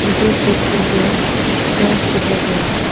मुझे इस पिक्चर पे चर्च दिखाई दे रहे हैं।